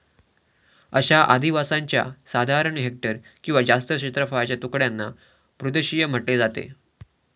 अशा आधिवासांच्या साधारण हेक्टर अथवा जास्त क्षेत्रफळाच्या तुकड्यांना भूदृषिय म्हटले जाते.